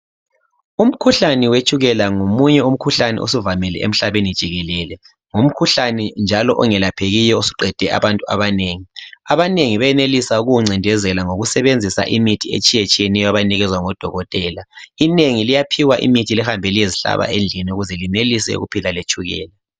Umkhuhlane wetshukela ngomunye umkhuhlane osuvamile emhlabeni jikelele. Ngumkhuhlane njalo ongelaphekiyo osuqede abantu abanengi. Abanengi benelisa ukuwuncindezela ngokusebenzisa imithi etshiyetshiyeneyo abayinikezwa ngodokotela. Inengi liyaphiwa imithi lihambe liyezihlaba endlini ukuze lenelise ukuphila letshukela.